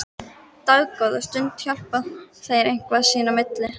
Dágóða stund hjala þeir eitthvað sín á milli.